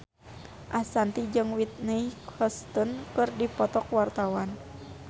Ashanti jeung Whitney Houston keur dipoto ku wartawan